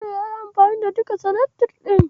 Asil yayi amfani da duka seletif ɗin.